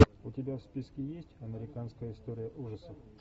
у тебя в списке есть американская история ужасов